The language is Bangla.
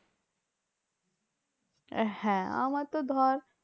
আহ হ্যাঁ আমার তো ধর